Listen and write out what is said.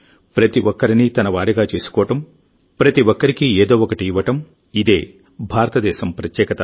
ప్రతి ఒక్కరినీ తనవారిగా చేసుకోవడం ప్రతి ఒక్కరికీ ఏదో ఒకటి ఇవ్వడం ఇదే భారతదేశం ప్రత్యేకత